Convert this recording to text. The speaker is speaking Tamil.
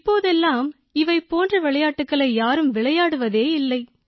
இப்போதெல்லாம் இவை போன்ற விளையாட்டுகளை யாரும் விளையாடுவதே இல்லை